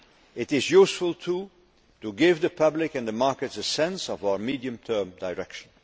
It is useful too to give the public and the markets a sense of our medium term direction.